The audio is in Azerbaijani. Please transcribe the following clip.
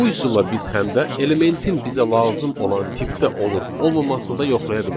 Bu üsulla biz həm də elementin bizə lazım olan tipdə olub-olmamasını da yoxlaya bilərik.